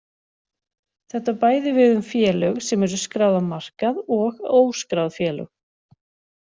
Þetta á bæði við um félög sem eru skráð á markaði og óskráð félög.